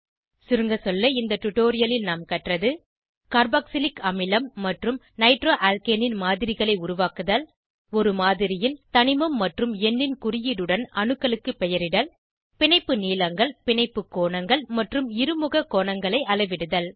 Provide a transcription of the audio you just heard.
சுருங்கசொல்ல இந்த டுடோரியலில் நாம் கற்றது கார்பாக்சிலிக் அமிலம் மற்றும் நைட்ரோஅல்கேனின் மாதிரிகளை உருவாக்குதல் ஒரு மாதிரியில் தனிமம் மற்றும் எண்ணின் குறியீடுடன் அணுக்களுக்கு பெயரிடல் பிணைப்பு நீளங்கள் பிணைப்பு கோணங்கள் மற்றும் இருமுக கோணங்களை அளவிடுதல்